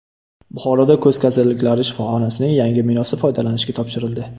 Buxoroda ko‘z kasalliklari shifoxonasining yangi binosi foydalanishga topshirildi.